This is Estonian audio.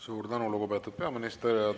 Suur tänu, lugupeetud peaminister!